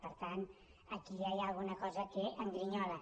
per tant aquí ja hi ha alguna cosa que em grinyola